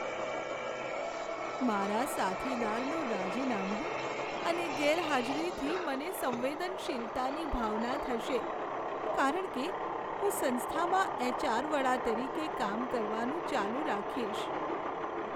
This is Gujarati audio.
મારા સાથીદારનું રાજીનામું અને ગેરહાજરીથી મને સંવેદનશીલતાની ભાવના થશે કારણ કે હું સંસ્થામાં એચ.આર. વડા તરીકે કામ કરવાનું ચાલુ રાખીશ.